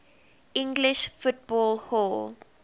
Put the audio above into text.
english football hall